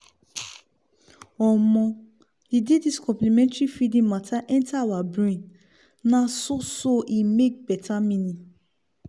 omo! the day this complementary feeding matter enter our brain na so so e make betta eaning